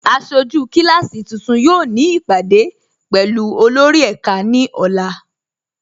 Aṣọjú kíláàsí tuntun yóò ni ipádé pẹ̀lú olórì ẹká ni ọ̀là.